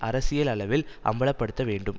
அரசியல் அளவில் அம்பல படுத்த வேண்டும்